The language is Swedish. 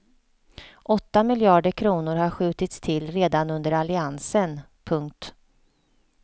Åtta miljarder kronor har skjutits till redan under alliansen. punkt